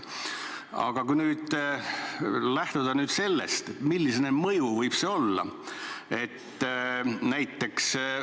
Aga kui nüüd lähtuda sellest, milline mõju võib sel avaldusel olla, siis vaatame näiteks Ukrainat.